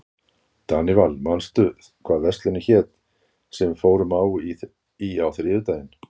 Danival, manstu hvað verslunin hét sem við fórum í á þriðjudaginn?